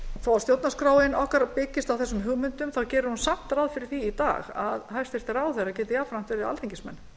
þó að stjórnarskráin okkar byggist á þessum hugmyndum þá gerir hún samt ráð fyrir því í dag að hæstvirtir ráðherrar geti jafnframt verið alþingismenn